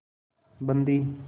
बंदी